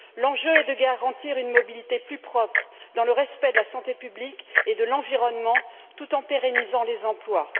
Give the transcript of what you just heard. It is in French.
L'enjeu est de garantir une mobilité plus propre, dans le respect de la santé publique et de l'environnement, tout en pérennisant les emplois.